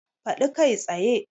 Faɗi kai tsaye!